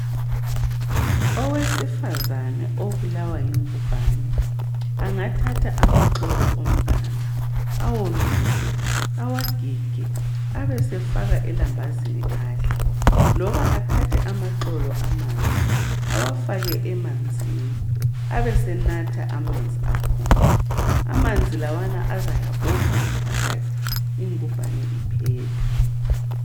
Owesifazane obulawa yingumbane angathatha amaxolo omganu awawomise awagige abesefaka kulambazi adle kumbe ethathe amaxolo amanzi efake emanzi ebesenatha amanzi lawa azayabopha ngaphakathi ingumbane iphele.